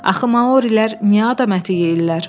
Axı Maorilər niyə adam əti yeyirlər?